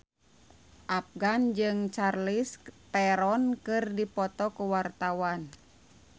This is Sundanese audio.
Afgan jeung Charlize Theron keur dipoto ku wartawan